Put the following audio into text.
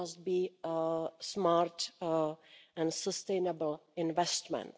it must be smart and sustainable investment.